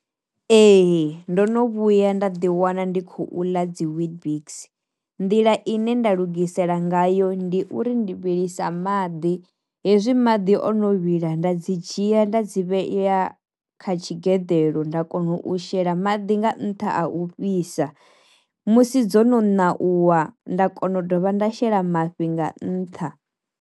Ee ndo no vhuya nda ḓi wana ndi khou ḽa dzi weetbix nḓila ine nda lugisela ngayo ndi uri ndi vhilisa maḓi, hezwi madi o no vhila nda dzi dzhia ya nda dzi vheya kha tshi geḓelo nda kona u shela maḓi nga ntha a u fhisa, musi dzo no ṋauwa nda kona u dovha nda shela mafhi nga nṱha.